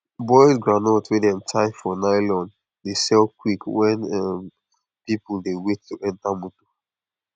boiled groundnut wey dem tie for nylon dey sell quick when um people dey wait to enter motor